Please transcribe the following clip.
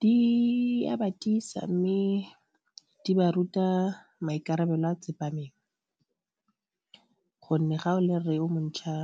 Di a ba tiisa mme di ba ruta maikarabelo a tsepameng gonne ga o le rre o mo ntšhwa